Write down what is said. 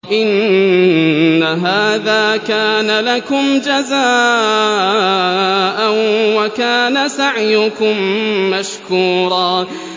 إِنَّ هَٰذَا كَانَ لَكُمْ جَزَاءً وَكَانَ سَعْيُكُم مَّشْكُورًا